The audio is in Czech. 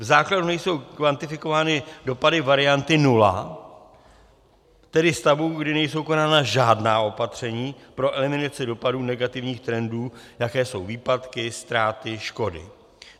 V základu nejsou kvantifikovány dopady varianty nula, tedy stavu, kdy nejsou konána žádná opatření pro eliminaci dopadu negativních trendů, jaké jsou výpadky, ztráty, škody.